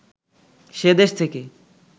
সে দেশ থেকে